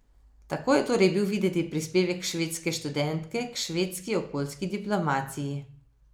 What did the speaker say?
Tako je torej bil videti prispevek švedske študentke k švedski okoljski diplomaciji.